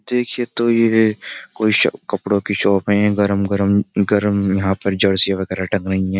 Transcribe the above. देखिए तो ये कोई कपड़ों की शॉप है गरम गरम गर्म यहाँ पर जर्सी वगैरह अटक रही है।